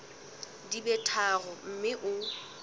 di be tharo mme o